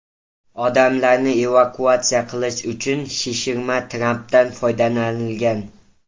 Odamlarni evakuatsiya qilish uchun shishirma trapdan foydalanilgan.